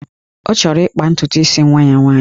Ọ chọrọ ịkpa ntutu isi nwa ya nwaanyị